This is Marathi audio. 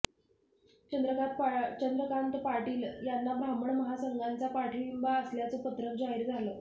चंद्रकात पाटील यांना ब्राह्मण महासंघाचा पाठिंबा असल्याचं पत्रक जाहीर झालं